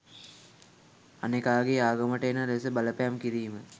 අනෙකාගේ ආගමට එන ලෙස බලපෑම් කිරීම.